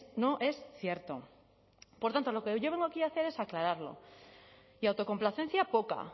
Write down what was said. no es cierto por tanto lo que yo vengo aquí a hacer es aclararlo y autocomplacencia poca